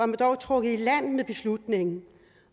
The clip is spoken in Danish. man dog trukket i land med beslutningen